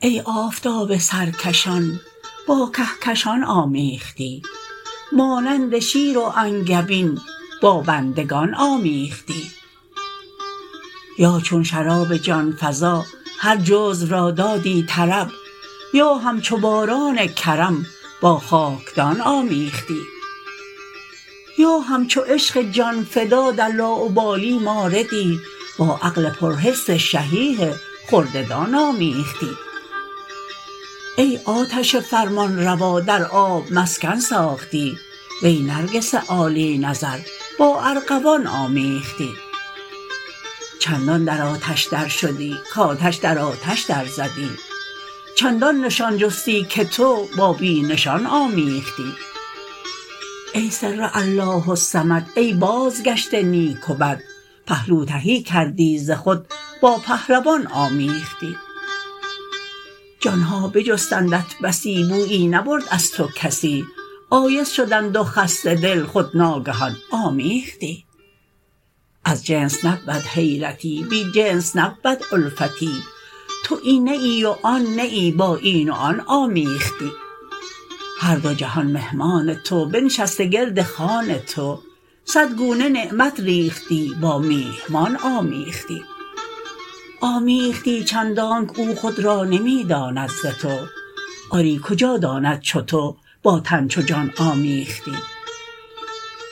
ای آفتاب سرکشان با کهکشان آمیختی مانند شیر و انگبین با بندگان آمیختی یا چون شراب جان فزا هر جزو را دادی طرب یا همچو یاران کرم با خاکدان آمیختی یا همچو عشق جان فدا در لاابالی ماردی با عقل پرحرص شحیح خرده دان آمیختی ای آتش فرمانروا در آب مسکن ساختی وی نرگس عالی نظر با ارغوان آمیختی چندان در آتش درشدی کآتش در آتش درزدی چندان نشان جستی که تو با بی نشان آمیختی ای سر الله الصمد ای بازگشت نیک و بد پهلو تهی کردی ز خود با پهلوان آمیختی جان ها بجستندت بسی بویی نبرد از تو کسی آیس شدند و خسته دل خود ناگهان آمیختی از جنس نبود حیرتی بی جنس نبود الفتی تو این نه ای و آن نه ای با این و آن آمیختی هر دو جهان مهمان تو بنشسته گرد خوان تو صد گونه نعمت ریختی با میهمان آمیختی آمیختی چندانک او خود را نمی داند ز تو آری کجا داند چو تو با تن چو جان آمیختی